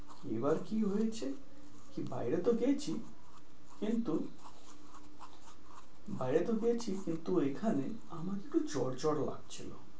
এবার কি হয়েছে কি বাইরে তো গেছি, কিন্তু বাইরে তো গেছি কিন্তু এখানে আমাকে একটু জ্বর জ্বর লাগছিল।